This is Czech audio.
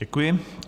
Děkuji.